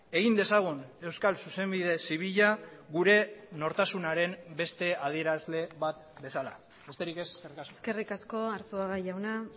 egin dezagun euskal zuzenbide zibila gure nortasunaren beste adierazle bat bezala besterik ez eskerrik asko eskerrik asko arzuaga jauna